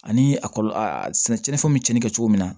Ani a kɔlɔlɔ a sɛnɛ tiɲɛnifɛnw bɛ cɛnni kɛ cogo min na